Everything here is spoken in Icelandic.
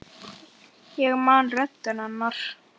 Ég man röddina hennar.